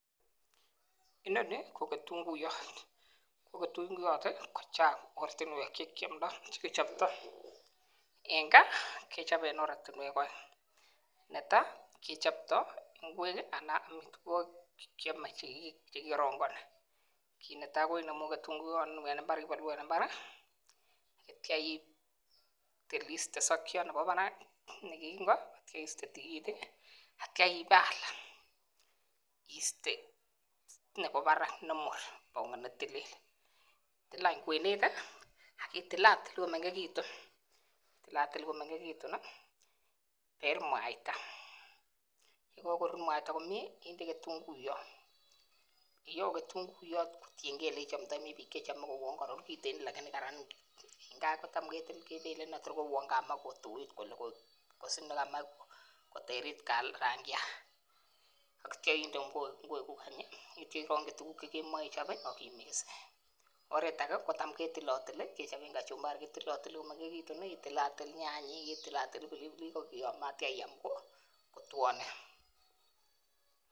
Inoni ko kitunguyot ko tunguyot kochang oratunwek chekechoptoi kichopei en oratunwek aeng netai kechopto ngwek anan ko amitwokik chekikorongoni kit netai inemu tunguyot en imbar atyam iiste sokyot nemi barak atyam iiste tikitik atyam itil kwenet akitilatil komengechitu yekaitil komengechitu ende mwaita yakakorur mwaita komye inde kitunguyot kingelen kaibel Kotor kouyo koterit rangyat atya inde ngwek kuk kotienkei tukuk cheimoche ichop oret neter ter kou kachumbari itilatil kitunguyot nyanyek atyam iam kotwonen